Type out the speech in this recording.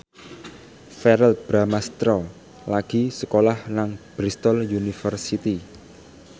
Verrell Bramastra lagi sekolah nang Bristol university